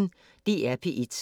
DR P1